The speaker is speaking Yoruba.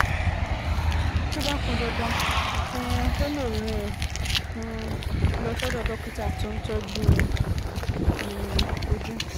Tó bá pọn dandan, um ó lè rán ẹ um lọ sọ́dọ̀ dókítà tó ń tọ́jú um ojú